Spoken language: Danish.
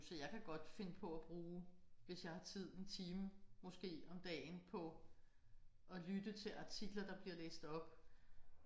Så jeg kan godt finde på at bruge hvis jeg har tid en time måske om dagen på at lytte til artikler der bliver læst op